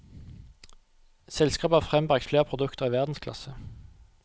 Selskapet har frembragt flere produkter i verdensklasse.